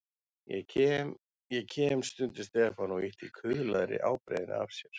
Ég kem, ég kem stundi Stefán og ýtti kuðlaðri ábreiðunni af sér.